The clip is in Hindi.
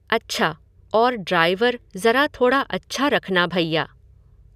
अच्छा, और ड्राइवर ज़रा थोड़ा अच्छा रखना भैया।